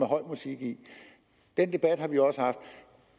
høj musik i den debat har vi også haft